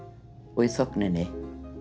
og í þögninni